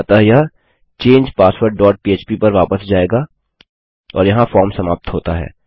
अतः यह change password dot पह्प पर वापस जायेगा और यहाँ फार्म समाप्त होता है